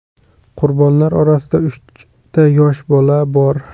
Qurbonlar orasida uchta yosh bola bor.